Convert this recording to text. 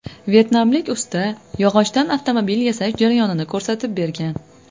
Vyetnamlik usta yog‘ochdan avtomobil yasash jarayonini ko‘rsatib bergan.